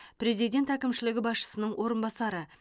президент әкімшілігі басшысының орынбасары